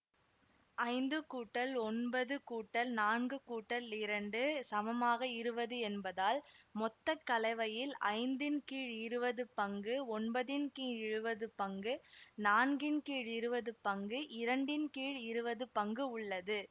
ஐந்து கூட்டல் ஒன்பது கூட்டல் நான்கு கூட்டல் இரண்டு சமமாக இருவது என்பதால் மொத்த கலவையில் ஐந்தின் கீழ் இருவது பங்கு ஒன்பதின் கீழ் இருவது பங்கு நான்கின் கீழ் இருவது பங்கு இரண்டின் கீழ் இருவது பங்கு உள்ளது